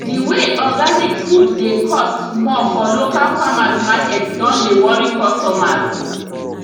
the way organic food dey cost more for local farmers market don dey worry customers